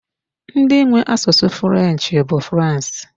Ndị nwe asụsụ 'French bụ France.